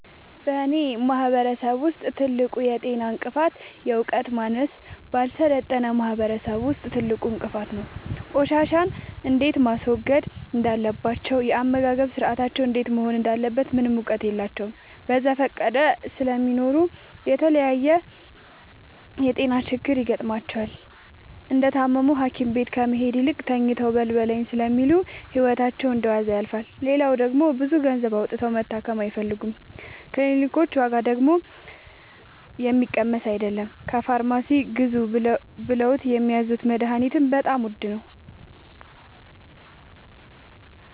በእኔ ማህበረሰብ ውስጥ ትልቁ የጤና እንቅፍት የዕውቀት ማነስ በአልሰለጠነ ማህበረሰብ ውስጥ ትልቁ እንቅፋት ነው። ቆሻሻ እንዴት ማስወገድ እንዳለባቸው የአመጋገብ ስርአታቸው እንዴት መሆን እንዳለበት ምንም እውቀት የላቸውም በዘፈቀደ ስለሚኖሩ ለተለያየ የጤና ችግር ይጋረጥባቸዋል። እንደታመሙም ሀኪቤት ከመሄድ ይልቅ ተኝተው በልበለኝ ስለሚሉ ህይወታቸው እንደዋዛ ያልፋል። ሌላው ደግሞ ብዙ ገንዘብ አውጥተው መታከም አይፈልጉም ክኒልኮች ዋጋደግሞ የሚቀመስ አይለም። ከፋርማሲ ግዙ ብለውት የሚያዙት መደሀኒትም በጣም ውድ ነው።